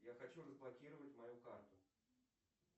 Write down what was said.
я хочу разблокировать мою карту